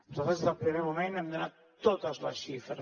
nosaltres des del primer moment hem donat totes les xifres